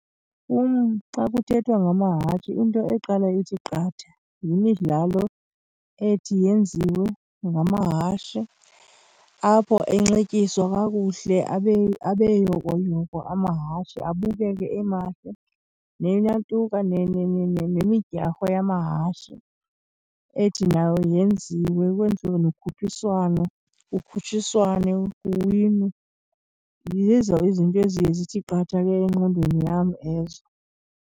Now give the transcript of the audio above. Kum xa kuthethwa ngamahashe into eqala ithi qatha yimidlalo ethi yenziwe ngamahashe apho enxityiswa kakuhle, abe yokoyoko amahashe, abukeke emahle. Neyantuka, nemidyarho yamahashe ethi nayo yenziwe, kwenziwe nokhuphiswano, kukutshiswane kuwinwe. Zizo izinto eziye zithi qatha ke engqondweni yam ezo.